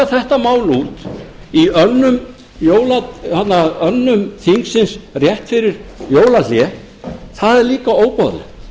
þetta mál út í önnum þingsins rétt fyrir jólahlé það er líka óboðlegt